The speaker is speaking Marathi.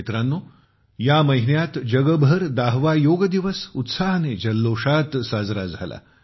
मित्रांनो या महिन्यात जगभर 10 वा योग दिवस उत्साहाने जल्लोषात साजरा झाला